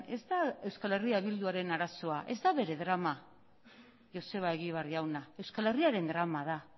ez da euskal herria bilduaren arazoa ez da bere drama joseba egibar jauna euskal herriaren drama da